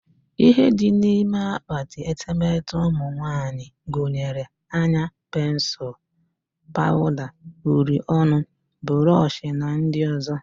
Ihe dị n'ime akpati etemete ụmụnwanyị gunyere; anya pensul, pawuda, uri ọnụ, burush na ndị ọzọ